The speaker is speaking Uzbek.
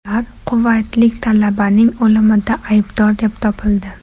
Ular quvaytlik talabaning o‘limida aybdor deb topildi.